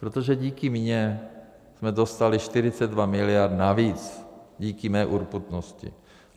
Protože díky mně jsme dostali 42 miliard navíc, díky mé urputnosti.